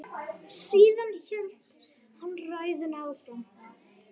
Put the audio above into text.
Síðan hélt hann ræðunni áfram